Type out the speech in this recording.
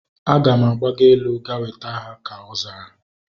Aga m agbago elu ga weta ha, ka ọ zara